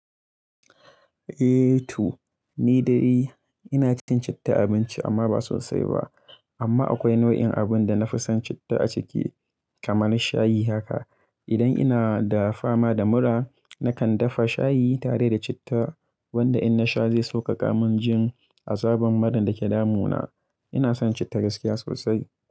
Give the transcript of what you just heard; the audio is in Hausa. Eh, to ni dai ina cin citta abinci amma ba sosai ba. Amma akwai nau'in abun da na fi son citta a ciki kaman shayi haka. Idan ina da fama da mura, nakan dafa shayi tare da citta wanda in na sha zai sauƙaƙa min jin azaban muran da ke damu na. Ina son citta gaskiya sosai.